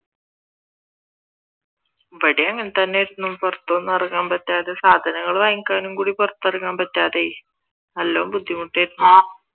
ഇവിടേം അങ്ങനെ തന്നെയായിരുന്നു പുറത്തൊന്നും ഇറങ്ങാൻ പറ്റാതെ സാധനങ്ങൾ വാങ്ങിക്കാൻ കൂടി പുറത്തിറങ്ങാൻ പറ്റാതെ ആയി നല്ല ബുദ്ധിമുട്ടായിരുന്നു